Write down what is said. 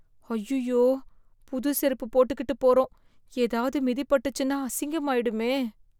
அய்யய்யோ, புது செருப்பு போட்டுக்கிட்டு போறோம் ஏதாவது மிதிபட்டுச்சுன்னா அசிங்கமாயிடுமே.